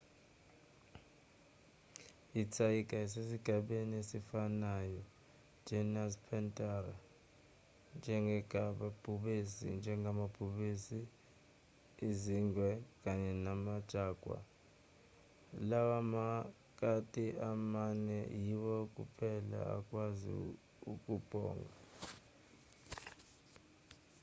ithayiga lisesigabeni esifanayo genus panthera njengamabhubesi izingwe kanye nama-jaguar. lawa makati amane yiwo kuphela akwazi ukubhonga